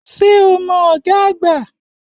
Ṣé o mọ ọ̀gá àgbà?